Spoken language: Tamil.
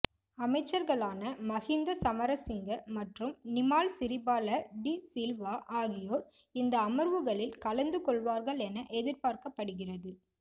அமைச்சர்களான மஹிந்த சமரசிங்க மற்றும் நிமால் சிறிபால டி சில்வா ஆகியோர் இந்த அமர்வுகளில் கலந்து கொள்வார்கள் என எதிர்பார்க்கப்படுகிறது